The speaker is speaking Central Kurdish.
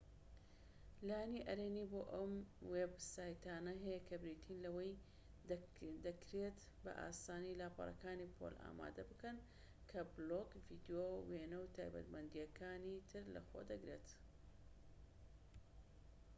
لایەنی ئەرێنی بۆ ئەم وێب سایتانە هەیە کە بریتین لەوەی دەکرێتبە ئاسانی لاپەڕەیەکی پۆل ئامادە بکەن کە بلۆگ ڤیدیۆ وێنە و تایبەتمەندی ەکانی تر لەخۆ دەگرێت